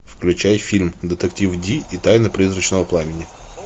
включай фильм детектив ди и тайна призрачного пламени